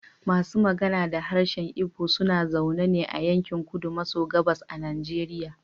Masu magana da harshen Igbo suna zaune ne a yankin kudu maso gabas a Nigeria.